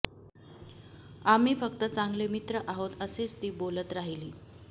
आम्ही फक्त चांगले मित्र आहोत असेच ती बोलत राहिली